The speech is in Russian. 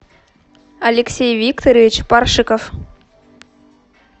алексей викторович паршиков